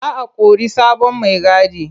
Za o kori sabon maigadi.